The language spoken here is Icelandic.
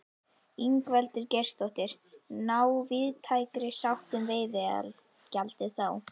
Ingveldur Geirsdóttir: Ná víðtækri sátt um veiðigjaldið þá?